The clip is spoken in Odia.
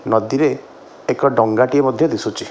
ନଦୀରେ ଏକ ଡଙ୍ଗାଟିଏ ମଧ୍ୟ ଦିଶୁଚି ।